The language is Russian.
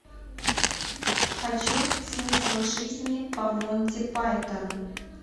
хочу смысл жизни по монти пайтону